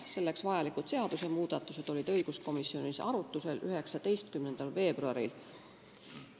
Selleks vajalikud seadusmuudatused olid õiguskomisjonis arutusel 19. veebruaril.